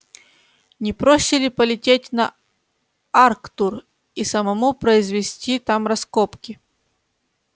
не проще ли полететь на арктур и самому произвести там раскопки